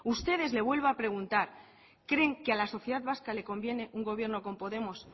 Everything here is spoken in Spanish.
ustedes le vuelvo a preguntar creen que a la sociedad vasca le conviene un gobierno con podemos